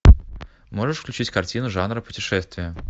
можешь включить картину жанра путешествия